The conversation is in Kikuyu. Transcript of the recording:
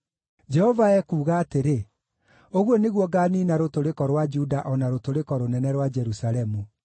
“Jehova ekuuga atĩrĩ: ‘Ũguo nĩguo ngaaniina rũtũrĩko rwa Juda o na rũtũrĩko rũnene rwa Jerusalemu.